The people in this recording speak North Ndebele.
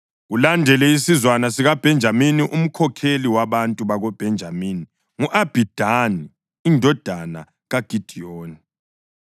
Kulandele isizwana sikaBhenjamini. Umkhokheli wabantu bakoBhenjamini ngu-Abhidani indodana kaGidiyoni.